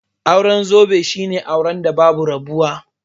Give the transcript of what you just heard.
Auren zobe shine auren da babu rabuwa